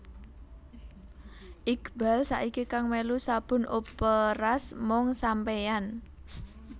Iqbaal saiki kang melu sabun operas Mung Sampeyan